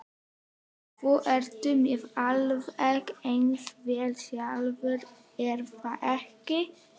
Þú ert með alveg eins vél sjálfur, er það ekki?